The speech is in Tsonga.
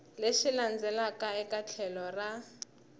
lexi landzelaka eka tlhelo ra